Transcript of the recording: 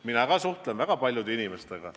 Mina ka suhtlen väga paljude inimestega.